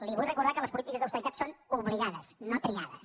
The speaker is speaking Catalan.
li vull recordar que les polítiques d’austeritat són obligades no triades